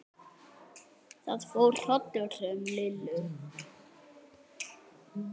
Það fór hrollur um Lillu.